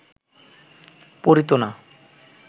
পড়িত না